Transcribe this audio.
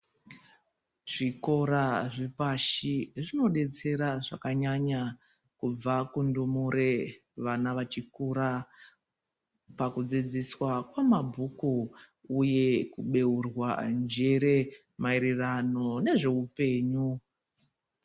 Zvikora zvepashi zvinodetsera zvakanyanya kubva kundumure vana vachikura pakudzidziswa kwemabhuku uye kubeurwa njere mairirano nezveupenyu.